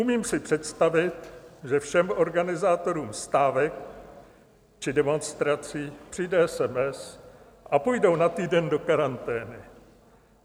Umím si představit, že všem organizátorům stávek či demonstrací přijde SMS a půjdou na týden do karantény.